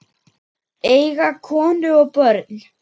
Eiga konu og börn?